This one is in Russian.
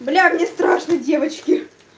бля мне страшно девочки